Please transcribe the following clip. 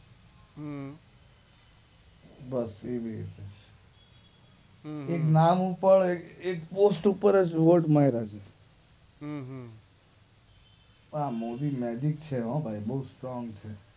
હમ્મ બસ ઈ જ ઈ જ હમ્મ એક નામ ઉપર એક પોસ્ટ ઉપર જ વોટ મારા છે હમ્મ હમ્મ આ મોદી મેજીક છે હો બોવ સ્ટ્રોંગ છે